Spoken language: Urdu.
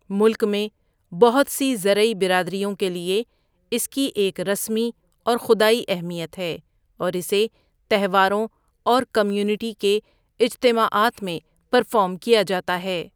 ملک میں بہت سی زرعی برادریوں کے لیے اس کی ایک رسمی اور خدائی اہمیت ہے اور اسے تہواروں اور کمیونٹی کے اجتماعات میں پرفارم کیا جاتا ہے۔